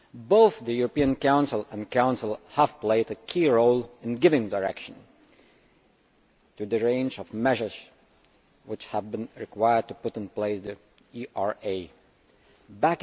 Both the European Council and Council have played a key role in giving direction to the range of measures which have been required to put the ERA in place.